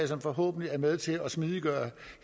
som forhåbentlig er med til at smidiggøre